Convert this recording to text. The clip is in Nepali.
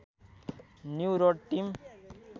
new Road team